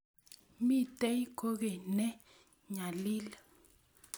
Mitei kokeny ne nyalil.